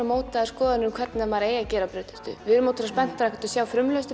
mótaðar skoðanir um hvernig maður eigi að gera brauðtertu við erum spenntar að sjá frumlegustu